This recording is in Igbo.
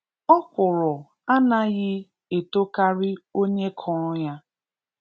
Ọkwụrụ anaghị etokarị onye kụrụ ya.